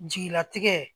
Jigilatigɛ